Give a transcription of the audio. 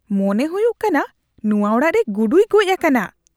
ᱢᱚᱱᱮ ᱦᱩᱭᱩᱜ ᱠᱟᱱᱟ ᱱᱚᱣᱟ ᱚᱲᱟᱜ ᱨᱮ ᱜᱩᱰᱩᱭ ᱜᱚᱡ ᱟᱠᱟᱱᱟ ᱾